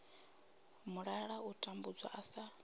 mulala u tambudzwa u sa